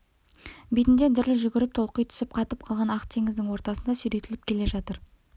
бетінде діріл жүгіріп толқи түсіп қатып қалған ақ теңіздің ортасында сүйретіліп келе жатыр